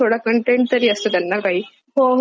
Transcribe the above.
हो हो आणि ते आपल्या शी रिलेटेड वाटतात.